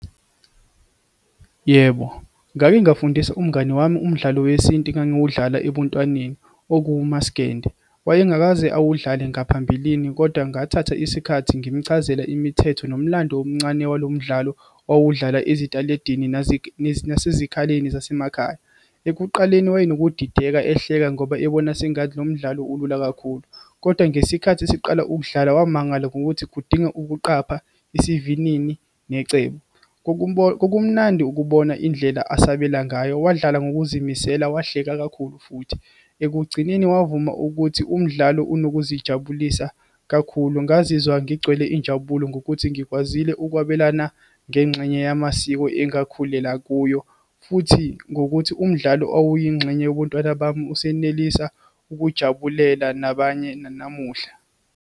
Yebo, ngake ngafundisa umngani wami umdlalo wesintu engiwudlala ebuntwaneni, okuwumasgende. Wayengakaze awudlale ngaphambilini kodwa ngathatha isikhathi ngimchazela imithetho, nomlando omncane walo mdlalo owawudlalwa esitaladini, nasezikhaleni zasemakhaya. Ekuqaleni wayenokudideka, ehleka, ngoba ebona sengathi lo mdlalo ulula kakhulu, kodwa ngesikhathi siqala ukudlala, wamangala ngokuthi kudinga ukuqapha, isivinini, necebo. Kokumnandi ukubona indlela asebenza ngayo, wadlala ngokuzimisela, wahleka kakhulu futhi. Ekugcineni wavuma ukuthi umdlalo unokuzijabulisa kakhulu. Ngazizwa ngigcwele injabulo ngokuthi ngikwazile ukwabelana ngengxenye yamasiko engakhulela kuyo, futhi ngokuthi umdlalo owawuyingxenye yobuntwana bami usenelisa ukujabulela nabanye namuhla.